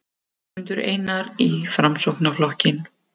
Ásmundur Einar í Framsóknarflokkinn